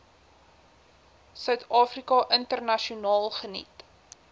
suidafrika internasionaal geniet